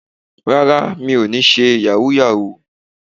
Rárá, mi ò níí ṣe Yàhooyahoo